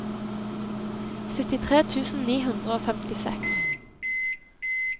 syttitre tusen ni hundre og femtiseks